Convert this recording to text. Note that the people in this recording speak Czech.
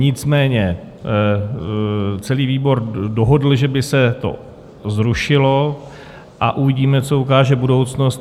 Nicméně celý výbor dohodl, že by se to zrušilo, a uvidíme, co ukáže budoucnost.